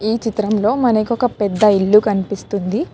ఈ చిత్రంలో మనకి ఒక పెద్ద ఇల్లు కనిపిస్తుంది